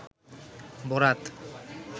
বরাত